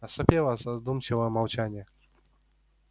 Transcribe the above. наступило задумчивое молчание